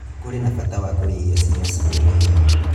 kũrĩ na bata wa kũrĩa irio ciĩna cumbũ mũnini